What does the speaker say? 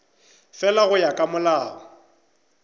fela go ya ka molao